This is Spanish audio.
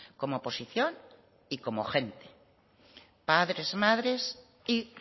como oposición y como gente padres madres y